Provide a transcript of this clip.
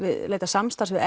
leita samstarfs við